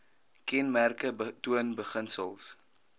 kenmerke toon beginsels